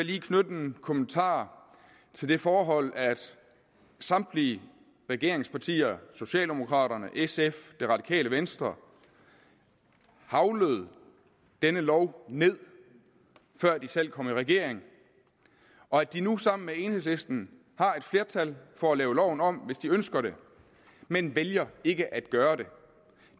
lige knytte en kommentar til det forhold at samtlige regeringspartier socialdemokraterne sf det radikale venstre heglede denne lov ned før de selv kom i regering og at de nu sammen med enhedslisten har et flertal for at lave loven om hvis de ønsker det men vælger ikke at gøre